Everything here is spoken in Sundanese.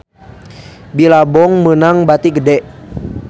Billabong meunang bati gede